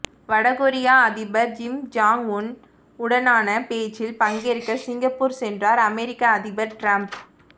வடகொரிய அதிபர் Kim Jong Un உடனான பேச்சில் பங்கேற்க சிங்கப்பூர் சென்றார் அமெரிக்க அதிபர் ட்ரம்ப்